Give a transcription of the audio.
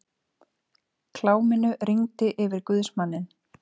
Kláminu rigndi yfir guðsmanninn.